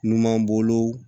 Numan bolo